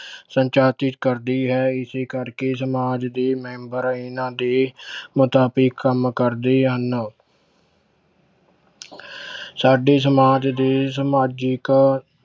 ਕਰਦੀ ਹੈ ਇਸੇ ਕਰਕੇ ਸਮਾਜ ਦੇ ਮੈਂਬਰ ਇਹਨਾਂ ਦੇ ਮੁਤਾਬਿਕ ਕੰਮ ਕਰਦੇ ਹਨ ਸਾਡੇ ਸਮਾਜ ਦੇ ਸਮਾਜਿਕ